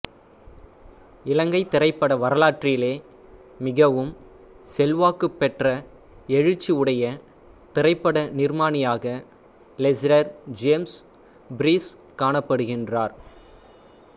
இலங்கை திரைப்பட வரலாற்றிலே மிகவும் செல்வாக்கு பெற்ற எழுச்சி உடைய திரைப்பட நிர்மாணியாக லெஸ்ரர் ஜேம்ஸ் பீரிஸ் காணப்படுகின்றார்